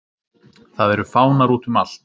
Það eru fánar útum allt.